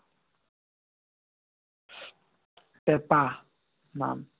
পেঁপা নাম।